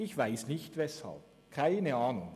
Ich weiss nicht weshalb, keine Ahnung.